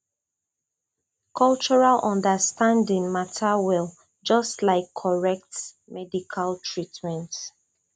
cultural understanding matter well just like correct medical treatment